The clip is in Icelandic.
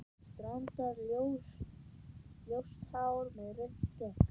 Strandar-ljóst hár og rautt skegg?